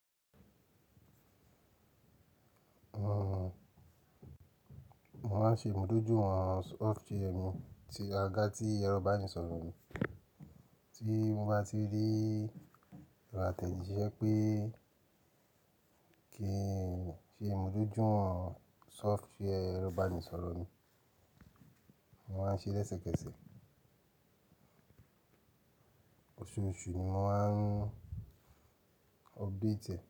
Mo máa ń ṣe ìmúdójúwọ̀n software mi ti aga tí ero ibanisoro mi. Tí mo bá ti rí ìrọ̀ atejíṣẹ́ pé kí ń ṣe ìmúdójúwọ̀n software ero ibanisoro mi, mo máa ń ṣe lẹ́sẹ̀kẹsẹ̀. Oṣooṣù ni mo máa ń update e.